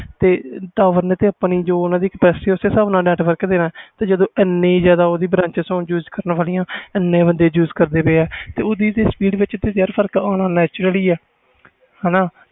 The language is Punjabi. ਤਾ ਜੋ ਓਹਨਾ ਦੀ capacity ਆ ਉਸ ਹਿਸਾਬ ਨਾਲ network ਦੇਣਾ ਜਦੋ ਏਨੀ ਜਿਆਦਾ branches use ਕਰਨ ਵਾਲਿਆਂ ਇੰਨੇ ਬੰਦੇ use ਕਰਨ ਵਾਲੇ ਤੇ ਓਹਦੀ speed ਵਿਚ ਫਰਕ ਤਾ ਪੈਣਾ naturely ਆ